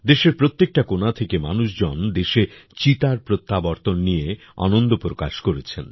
দেশের প্রত্যেকটা কোণ থেকে মানুষজন দেশে চিতার প্রত্যাবর্তন নিয়ে আনন্দ প্রকাশ করেছেন